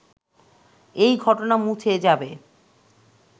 এই ঘটনা মুছে যাবে